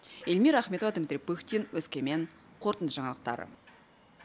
эльмира ахметова дмитрий пыхтин өскемен қорытынды жаңалықтар